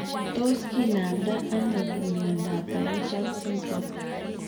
Tos kinamda ano miondap Pierson syndrome.